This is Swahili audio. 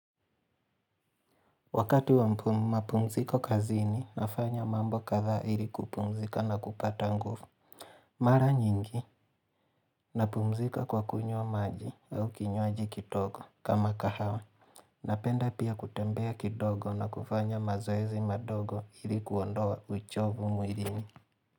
Wakati wa mpumu mapumziko kazini nafanya mambo kadhaa ili kupumzika na kupata nguvu. Mara nyingi, napumzika kwa kunywa maji au kinywaji kidogo kama kahawa. Napenda pia kutembea kidogo na kufanya mazoezi madogo ili kuondoa uchovu mwilini.